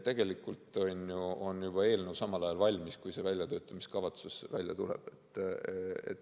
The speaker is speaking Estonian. Tegelikult on eelnõu juba valmis, kui see väljatöötamiskavatsus välja tuleb.